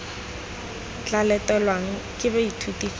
tla latelwang ke baithuti fa